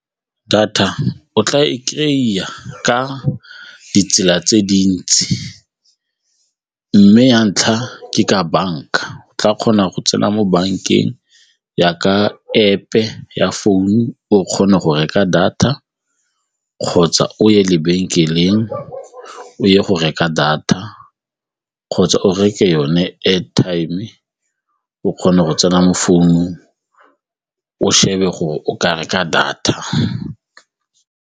Data o tla e kry-a ka ditsela tse dintsi mme ya ntlha ke ka banka, o tla kgona go tsena mo bankeng jaaka App-e ya founu o kgone go reka data kgotsa o ye lebenkeleng o ye go reka data kgotsa o reke yone airtime o kgone go tsena mo founung o shebe gore o ka reka data.